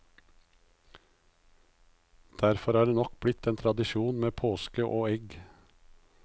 Derfor er det nok blitt en tradisjon med påske og egg.